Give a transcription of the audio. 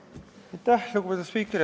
Lugupeetud spiiker!